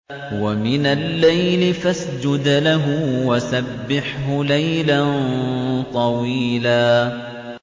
وَمِنَ اللَّيْلِ فَاسْجُدْ لَهُ وَسَبِّحْهُ لَيْلًا طَوِيلًا